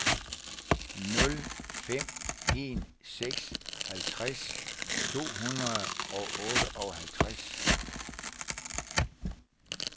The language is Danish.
nul fem en seks halvtreds to hundrede og otteoghalvtreds